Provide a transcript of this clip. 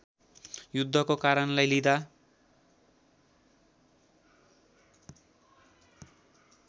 युद्धको कारणलाई लिँदा